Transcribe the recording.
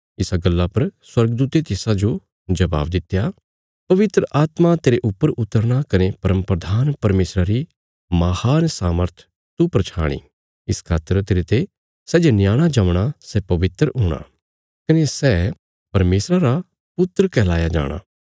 इसा गल्ला पर स्वर्गदूते तिसाजो जबाब दित्या पवित्र आत्मा तेरे ऊपर उतरना कने परमप्रधान परमेशरा री महान सामर्थ तू पर छाणी इस खातर तेरते सै जे न्याणा जमणा सै पवित्र हूणा कने सै परमेशरा रा पुत्र कहलाया जाणा